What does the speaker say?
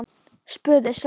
spurði Svenni.